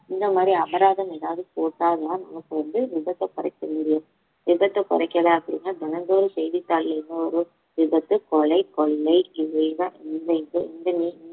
இந்த மாதிரி அபராதம் ஏதாவது போட்டாங்கன்னா நமக்கு வந்து விபத்தை குறைக்க முடியும் விபத்தை குறைக்கலை அப்படின்னா தினந்தோறும் செய்தித்தாள்ல என்ன வரும் விபத்து கொலை கொள்ளை இவைதான்